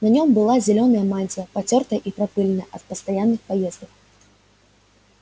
на нём была зелёная мантия потёртая и пропылённая от постоянных поездок